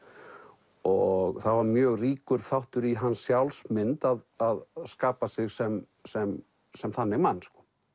og það var mjög ríkur þáttur í hans sjálfsmynd að skapa sig sem sem sem þannig mann